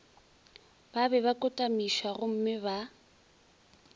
ba be ba kotamišwagomme ba